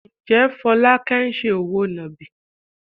Ǹjẹ́ Folake ń ṣe òwò nàbì?